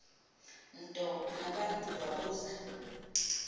nto unobantu wabuza